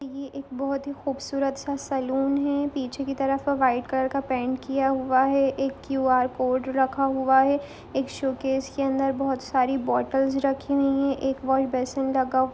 ये एक बोहोत ही खूबसूरत सा सैलून है पीछे की तरफ वाइट कलर का पेंट किया हुआ है एक क्यू आर कोड रखा हुआ है एक शोकेस के अंदर बोहोत सारी बॉटल्स रखी हुई हैं एक वशबेसिन लगा --